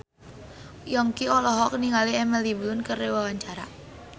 Yongki olohok ningali Emily Blunt keur diwawancara